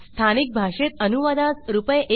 स्थानिक भाषेत अनुवादास रुपये